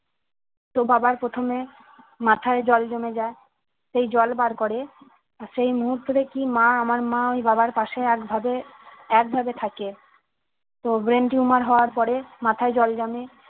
তো বাবার প্রথমে মাথায় জল জমে যায় সেই জল বার করে আর সেই মুহূর্ত থেকেই মা আমার মা ওই বাবার পশে একভাবে একভাবে থাকে তো brain tumor হওয়ার পরে মাথায় জল জমে